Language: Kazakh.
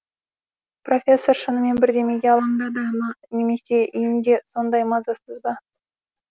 профессор шынымен бірдемеге алаңдады ма немесе үйінде сондай мазасыз ба